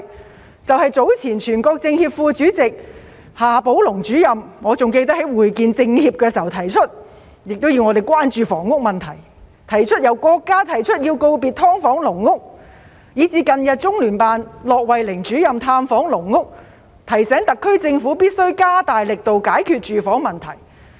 我記得早前全國政協副主席夏寶龍主任在會見政協時提出要關注房屋問題，由國家提出要告別"劏房"、"籠屋"，以至近日中聯辦駱惠寧主任探訪"籠屋"，提醒特區政府必須加大力度解決住房問題。